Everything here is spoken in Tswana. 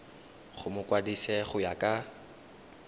go mokwadise go ya ka